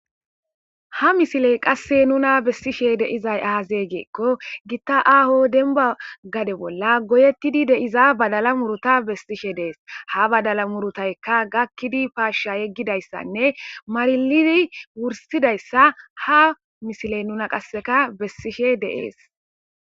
ha misiley qasse nuna bessishe deizay aazeegeekko gitta aaho denba gade bolla goyettidi deiza badala muruta bessishe dees ha badala murutayka gakkidi paashsha yeggidayssanne marilidi wursidayssa ha misiley nuna qasseka bessishe deees